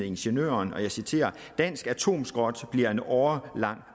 ingeniøren og jeg citerer dansk atomskrot bliver en årelang